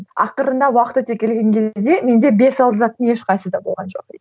ақырында уақыт өте келген кезде менде бес алты заттың ешқайсысы да болған жоқ